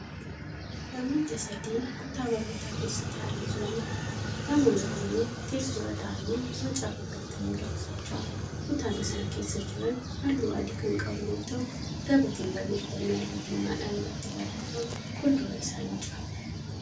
Namoota sadi kutaa barnootaa keessa taa'anii jiraniidha. namoonni kunniin teessoorra taa'anii macaafa banatanii dubbisaa jiru. kutaan isaan keessa Jiran halluu adii Kan qabu yoo ta'u gabateen barreeffamni halluu diimadhaan irratti barreeffame fuulduraa isaanii jira